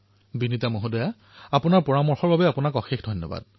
বিনীতা মহোদয় আপোনাৰ প্ৰস্তাৱৰ বাবে আপোনাক বহুত বহুত ধন্যবাদ